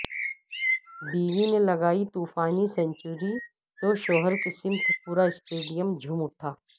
بیوی نے لگائی طوفانی سنچری توشوہرسمیت پوراسٹیڈیم جھوم اٹھا